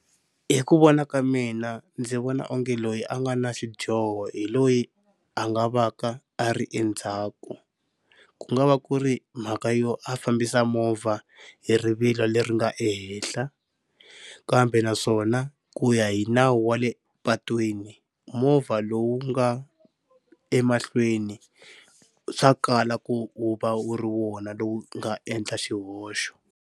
Hi ku vona ka mina ndzi vona onge loyi a nga na xidyoho hi loyi a nga va ka a ri endzhaku ku nga va ku ri mhaka yo a fambisa movha hi rivilo leri nga ehenhla, kambe naswona ku ya hi nawu wa le patwini movha lowu nga emahlweni swa kala ku u va wu ri wona lowu nga endla xihoxo.